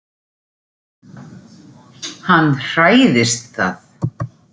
Hann hræðist það.